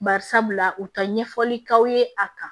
Bari sabula u ka ɲɛfɔli k'aw ye a kan